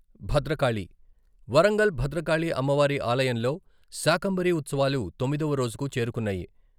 భద్రకాళి, వరంగల్ భద్రకాళి అమ్మవారి ఆలయంలో శాకంబరి ఉత్సవాలు తొమ్మిదవ రోజుకు చేరుకున్నాయి.